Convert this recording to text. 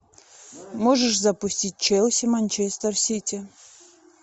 можешь запустить челси манчестер сити